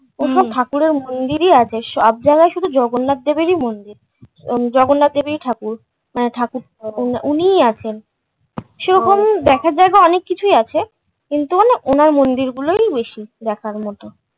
ওসব ঠাকুরের মন্দির ই আছে সবজায়গায় শুধু জগন্নাথ দেবেরই মন্দির, জগন্নাথ দেবেরই ঠাকুর মনে ঠাকুর উ উনিই আছেন সেরকম দেখার জায়গা অনেককিছুই আছে কিন্তু মানে ওনার মন্দির গুলো ই বেশি দেখার মতো